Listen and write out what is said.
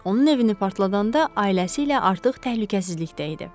Onun evini partladanda ailəsi ilə artıq təhlükəsizlikdə idi.